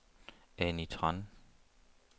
Annie Tran